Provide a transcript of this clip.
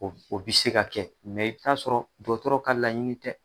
O bɛ se ka kɛ i bɛ ta sɔrɔ dɔgɔtɔrɔ ka laɲini tɛ.